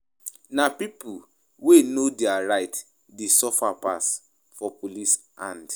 Na pipo wey know their right dey suffer pass for police hand.